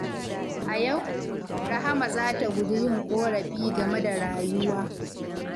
A yau, Rahama za ta guji yin ƙorafi game da rayuwa.